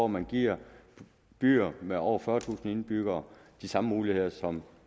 man giver byer med over fyrretusind indbyggere de samme muligheder som